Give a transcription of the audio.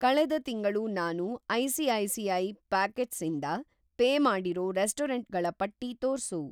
ಕಳೆದ ತಿಂಗಳು ನಾನು ಐ.ಸಿ.ಐ.ಸಿ.ಐ. ಪಾಕೆಟ್ಸ್ ಇಂದ ಪೇ ಮಾಡಿರೋ ರೆಸ್ಟೊರಂಟ್‌ಗಳ ಪಟ್ಟಿ ತೋರ್ಸು.